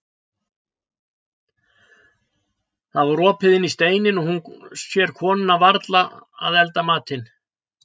Það var opið inn í steininn og hún sér konuna vera að elda matinn.